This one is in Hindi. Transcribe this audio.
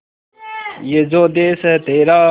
ये जो देस है तेरा